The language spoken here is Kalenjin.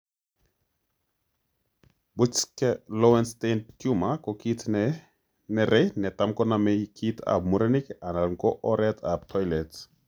Buschke Lowenstein tumor ko kit ne nere netam koname kit ap murenik alan ko oret ap Toilet.